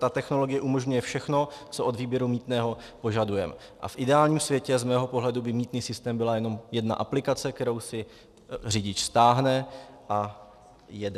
Ta technologie umožňuje všechno, co od výběru mýtného požadujeme, a v ideálním světě, z mého pohledu, by mýtný systém byla jenom jedna aplikace, kterou si řidič stáhne a jede.